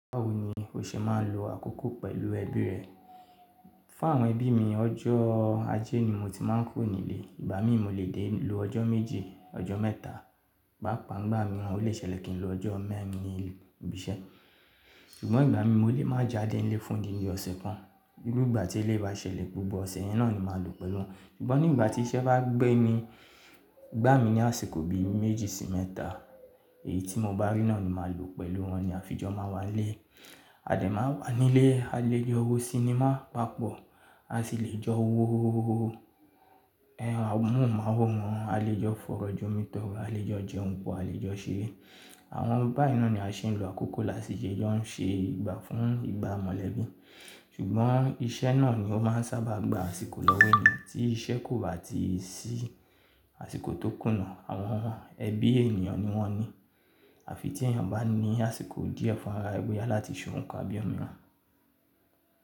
Báwo ni o ṣe máa ń lo àkókò pẹ̀lú ẹbí rẹ? Fún àwọn ẹbí mi ọjọ́ ajé ni mo ti máa ń kúrò nílé, ìgbà mí mo lè dé lu ọjọ́ méje, ọjọ́ mẹ́ta, pápa ń gbà mí wọ́n lè ṣẹlẹ̀ kí n lo ọjọ́ mẹ́rin ibi iṣẹ́. Ṣùgbọ́n ìgbà mí mo lè má jáde nílé fún dín ní ọ̀sẹ̀ kan, gbogbo ìgbà tí eléyìí bá ṣẹlẹ̀ gbogbo ọ̀sẹ̀ yẹn náà ni màá lu pẹ̀lú wọn. Ṣùgbọ́n nígbà tí iṣẹ́ bá gbé ní gbà mí ní àsìkò bí méjì sí mẹ́ta èyí tí mo bá rí náà ni màá lo pẹ̀lú wọn ní àfi jọ̀ọ́ máa wà nílé. A dẹ̀ máa wà nílé, a lè jọ wo sinimá, bá pọ̀ a sì lè jọ wo ẹ́hún àwọn múù máwòrán, a lè jọ fọ̀rọ̀ jomitoro, a lè jọ jẹun pọ̀, a lè jọ ṣeré. Àwọn báì náà ni a ṣe ń lo àkókò lásìíṣẹ́ jọ ń ṣe ìgbà fún ìgbà mọ̀lẹ́bí. Ṣùgbọ́n iṣẹ́ náà ni ó máa ń sábà gba àsìkò lọ́wọ́ mì tí iṣẹ́ kò bá ti sí àsìkò tó kùnà àwọn ẹbí ènìyàn ni wọ́n ní. Àfi tí èèyàn bá ní àsìkò díẹ̀ fúnra ẹgbẹ́ yà láti ṣe ohun kan bí ọmọ wọn.